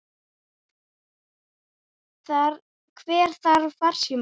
Hver þarf farsíma?